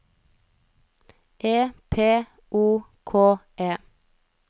E P O K E